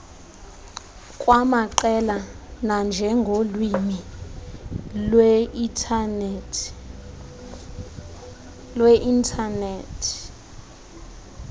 kwamaqela nanjengolwimi lweinthanethi